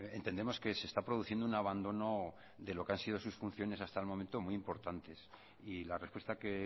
entendemos que se está produciendo un abandono de lo que han sido sus funciones hasta el momento muy importantes y la respuesta que